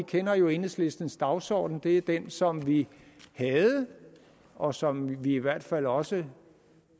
kender jo enhedslistens dagsorden det er den som vi havde og som vi i hvert fald også